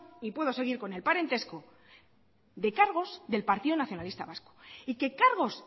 y puedo seguir con el parentesco de cargos del partido nacionalista vasco y que cargos